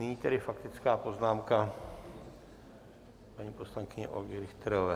Nyní tedy faktická poznámka paní poslankyně Olgy Richterové.